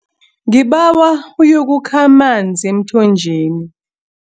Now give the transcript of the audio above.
Ngibawa uyokukha amanzi emthonjeni.